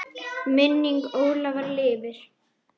Minning Ólafar lifir.